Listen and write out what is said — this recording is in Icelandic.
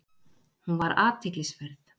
Hún var athyglisverð.